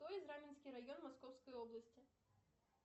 кто из раменский район московской области